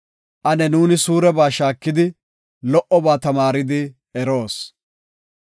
Ane nuuni suureba shaakidi, lo77oba tamaaridi eroos.